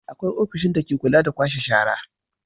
Akwai ofishin dake kula da kwashe shara.